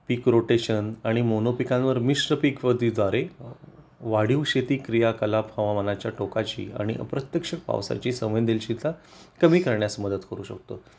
पीक rotation आणि mono पिकांवर मिश्र पिक व वाढीव शेती क्रियाकलाप हवामानाच्या टोकाची आणि अप्रत्यक्ष पावसाची संवेदनशीलता कमी करण्यास मदत करू शकतो